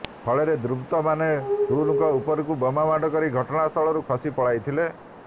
ଫଳରେ ଦୁର୍ବୃତ୍ତମାନ ଟୁଲୁଙ୍କ ଉପରକୁ ବୋମାମାଡ଼ କରି ଘଟଣାସ୍ଥଳରୁ ଖସି ପଳାଇଥିଲେ